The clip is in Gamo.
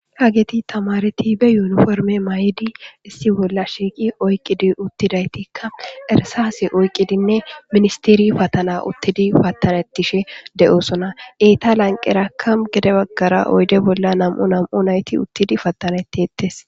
hageti tamareti be yuuniforme may7idi issi bolla shiiqi oyqqidi uttidaytikka ersaase oyqqidinne ministiri patana uttidi patanettishe de7osona eeta lanqeraka gede baggara oyde bolla nam7u nam7u nayti uttidi pattanettiettes